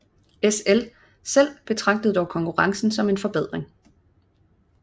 SL selv betragtede dog konkurrencen som en forbedring